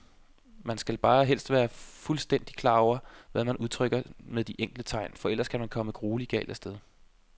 Man skal bare helst være fuldstændigt klar over, hvad man udtrykker med de enkelte tegn, for ellers kan man komme grueligt galt af sted.